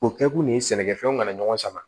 O kɛkun de ye sɛnɛkɛfɛnw kana ɲɔgɔn sama